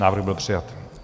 Návrh byl přijat.